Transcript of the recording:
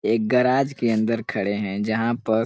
एक गराज के अंदर खड़े हैं जहाँ पर --